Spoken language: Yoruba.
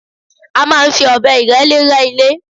A máa ń fi ọ̀bẹ ìrẹ́lé rẹ́ ilé